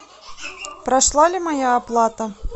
прошла ли моя оплата